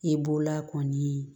I b'o la kɔni